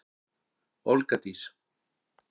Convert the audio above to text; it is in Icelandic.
Olga Dís.